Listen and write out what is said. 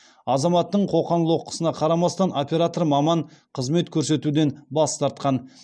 азаматтың қоқан лоққысына қарамастан оператор маман қызмет көрсетуден бас тартқан